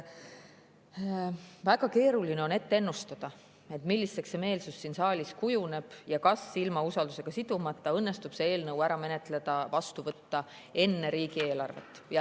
Väga keeruline on ennustada, milliseks meelsus siin saalis kujuneb ja kas ilma usaldushääletusega sidumata õnnestub see eelnõu ära menetleda ja vastu võtta enne riigieelarvet.